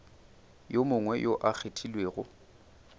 yo mongwe yo a kgethilwego